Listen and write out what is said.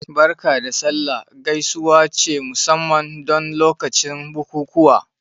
"Barka da sallah" gaisuwa ce musamman don lokacin bukukuwa